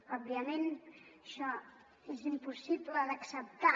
òbviament això és impossible d’acceptar